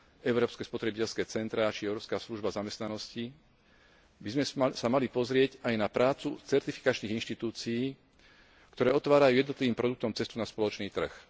európske spotrebiteľské centrá či Európska služba zamestnanosti, by sme sa mali pozrieť aj na prácu certifikačných inštitúcií, ktoré otvárajú jednotlivým produktom cestu na spoločný trh.